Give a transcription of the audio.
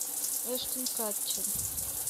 эштон катчер